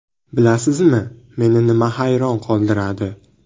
Bilasizmi, meni nima hayron qoldiradi?